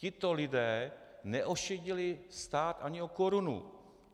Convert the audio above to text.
Tito lidé neošidili stát ani o korunu.